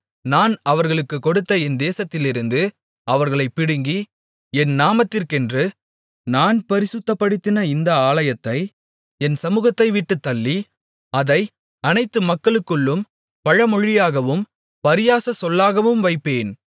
நான் அவர்களுக்குக் கொடுத்த என் தேசத்திலிருந்து அவர்களைப் பிடுங்கி என் நாமத்திற்கென்று நான் பரிசுத்தப்படுத்தின இந்த ஆலயத்தை என் சமுகத்தைவிட்டுத் தள்ளி அதை அனைத்து மக்களுக்குள்ளும் பழமொழியாகவும் பரியாசச் சொல்லாகவும் வைப்பேன்